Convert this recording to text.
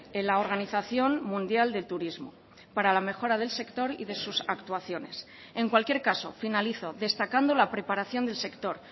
en la organización mundial del turismo para la mejora del sector y de sus actuaciones en cualquier caso finalizo destacando la preparación del sector